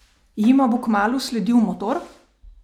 Jima bo kmalu sledil Motor?